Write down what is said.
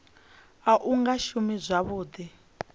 u sa nga shumi zwavhuḓi